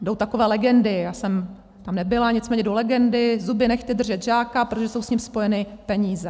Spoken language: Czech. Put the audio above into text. Jdou takové legendy, já jsem tam nebyla, nicméně jdou legendy, zuby nehty držet žáka, protože jsou s ním spojeny peníze.